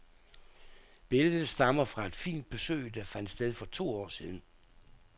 Billedet stammer fra et fint besøg, der fandt sted for to år siden.